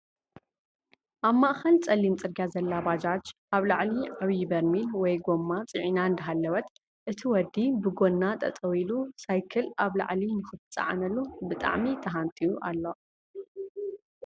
ኣብ ማእኸል ፀሊም ፅርግያ ዘላ ባጃጅ ኣብ ላዕሊ ዓብዪ በርሚል ወይ ጎማ ፅዒና እንዳሃለወት እቲ ወዲ ብጎና ጠጠው ኢሉ ሳይክል ኣብ ላዕሊ ንክትፀዓነሉ ብጣዕሚ ተሃንጥዩ ኣሎ፡፡